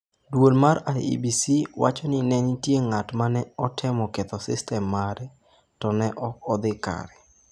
Duol mar IEBC wacho ni ne nitie ng’at ma ne otemo ketho sistem mare, to ne ok odhi kare.